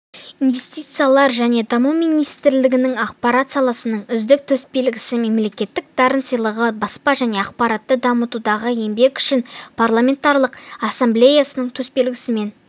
инвестициялар және даму министрлігінің ақпарат саласының үздігі төсбелгісі мемлекеттік дарын сыйлығы баспа және ақпаратты дамытудағы еңбегі үшін парламентаралық ассамблеясының төсбелгісімен